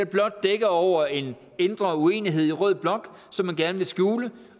blot dækker over en indre uenighed i rød blok som man gerne vil skjule